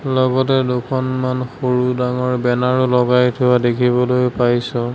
লগতে দুখনমান সৰু ডাঙৰ বেনাৰো লগাই থোৱা দেখিবলৈ পাইছোঁ।